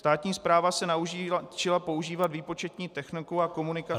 Státní správa se naučila používat výpočetní techniku a komunikaci -